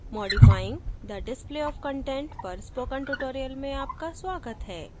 modifying the display of content पर spoken tutorial में आपका स्वागत है